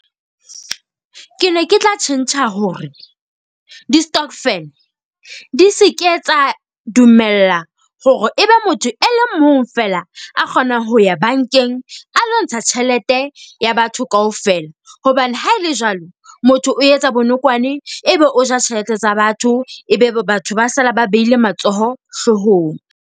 Ke ne ke tla tjhentjha hore di-stokvel di se ke etsa dumella hore ebe motho e le mong fela a kgonang ho ya bankeng a lontsha tjhelete ya batho kaofela. Hobane ha e le jwalo, motho o etsa bonokwane. Ebe o ja tjhelete tsa batho. Ebe batho ba sala ba behile matsoho hloohong.